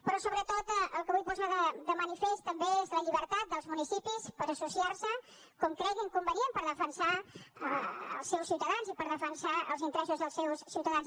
però sobretot el que vull posar de manifest també és la llibertat dels municipis per associar se com creguin convenient per defensar els seus ciutadans i per defensar els interessos dels seus ciutadans